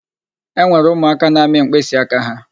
E nwere ụmụaka na-amị mkpịsịaka ha.